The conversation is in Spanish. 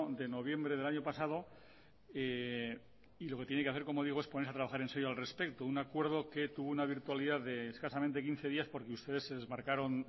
de noviembre del año pasado y lo que tiene que hacer como digo es ponerse a trabajar enserio al respecto un acuerdo que tuvo una virtualidad de escasamente quince días porque ustedes se desmarcaron